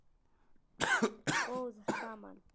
Við vorum góð saman.